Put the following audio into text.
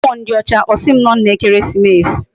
Mmuo ndi ocha, osim no nna ekeresimesi